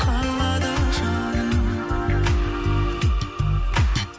қалады жаным